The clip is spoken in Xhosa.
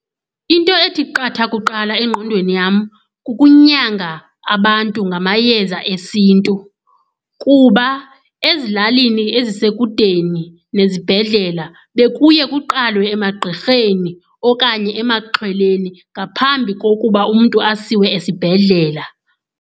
Into ethi qatha kuqala engqondweni yam kukunyanga abantu ngamayeza esiNtu, kuba ezilalini ezisekudeni nezibhedlela bekuye kuqalwe emagqirheni okanye emaxhweleni ngaphambi kokuba umntu asiwe esibhedlela.